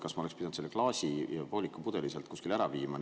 Kas ma oleks pidanud selle klaasi ja pooliku pudeli sealt kuskile ära viima?